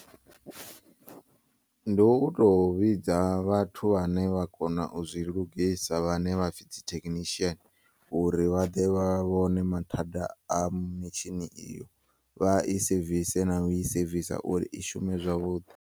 Ndi uto vhidza vhathu vhane vha kona uzwi lugisa vhane vhapfi dzi theknishiyen uri vhaḓe vha vhone mathada a mitshini iyo vha i sevise na u i sevisa uri ishume zwavhuḓi.